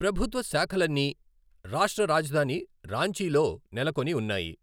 ప్రభుత్వ శాఖలన్నీ రాష్ట్ర రాజధాని రాంచీలో నెలకొని ఉన్నాయి.